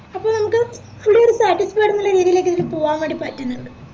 അപ്പൊ നമ്മക്ക് വല്യൊരു satisfied ന്നുള്ള രീതിലേക്ക് ഇതിന് പോവാൻ വേണ്ടി പറ്റുന്നുണ്ട്